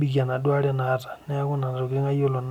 peebikie enaduo aare naata.